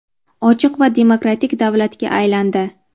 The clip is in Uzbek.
ochiq va demokratik davlatga aylandi.